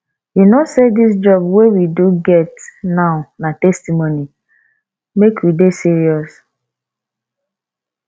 you no say dis job we do get now na testimony make we dey serious